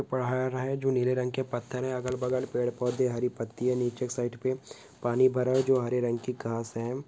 पाहाऱा हे जो नीले रंग के पत्थर हे अगल बगल पेड़ पौधे हरी पत्तिया नीचे साईड पे पानी भारा हे जो हारे रंग की काँहासे।